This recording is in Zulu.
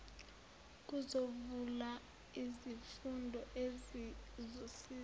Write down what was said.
kuzovela izifundo ezizosiza